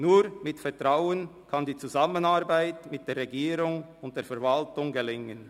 Nur mit Vertrauen kann die Zusammenarbeit mit der Regierung und der Verwaltung gelingen.